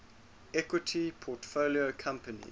equity portfolio companies